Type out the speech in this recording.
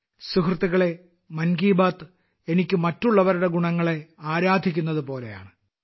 സുഹൃത്തുക്കളേ മൻ കി ബാത്ത് എനിക്ക് മറ്റുള്ളവരുടെ ഗുണങ്ങളെ ആരാധിക്കുന്നതുപോലെയാണ്